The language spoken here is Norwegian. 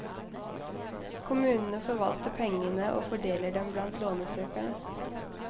Kommunene forvalter pengene og fordeler dem blant lånesøkerne.